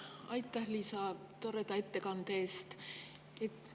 Aitäh, Liisa, toreda ettekande eest!